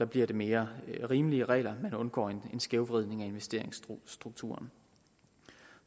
bliver det mere rimelige regler man undgår en skævvridning af investeringsstrukturen